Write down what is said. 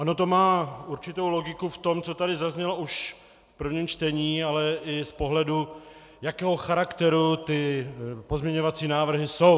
Ono to má určitou logiku v tom, co tady zaznělo už v prvním čtení, ale i v pohledu, jakého charakteru ty pozměňovací návrhy jsou.